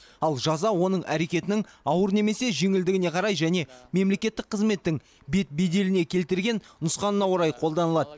ал жаза оның әрекетінің ауыр немесе жеңілдігіне қарай және мемлекеттік қызметтің бет беделіне келтірген нұқсанына орай қолданылады